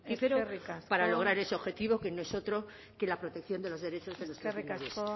fructífero eskerrik asko para lograr ese objetivo que no es otro que la protección de los derechos de nuestros menores